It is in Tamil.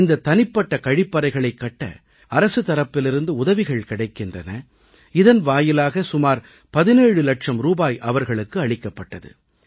இந்த தனிப்பட்ட கழிப்பறைகளைக் கட்ட அரசு தரப்பிலிருந்து உதவிகள் கிடைக்கின்றன இதன் வாயிலாக சுமார் 17 லட்சம் ரூபாய் அவர்களுக்கு அளிக்கப்பட்டது